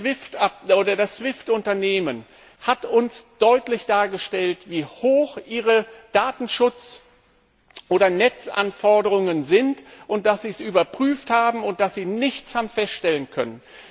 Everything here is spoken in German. Das SWIFT Unternehmen hat uns deutlich dargestellt, wie hoch seine Datenschutz oder Netzanforderungen sind, dass sie es überprüft haben und dass sie nichts feststellen konnten.